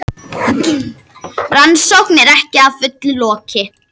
Rannsókn er ekki að fullu lokið